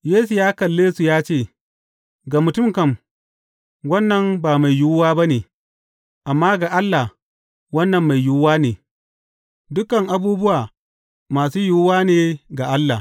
Yesu ya kalle su ya ce, Ga mutum kam, wannan ba mai yiwuwa ba ne, amma ga Allah, wannan mai yiwuwa ne; dukan abubuwa masu yiwuwa ne ga Allah.